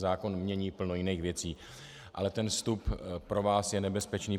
Zákon mění plno jiných věcí, ale ten vstup pro vás je nebezpečný.